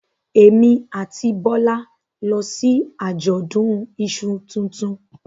Èmi àti Bọ́lá lọ sí àjọ̀dún iṣu tuntun